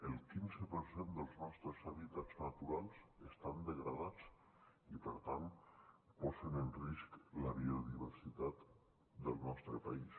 el quinze per cent dels nostres hàbitats naturals estan degradats i per tant posen en risc la biodiversitat del nostre país